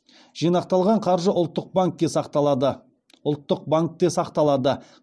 жинақталған қаржы ұлттық банкте сақталады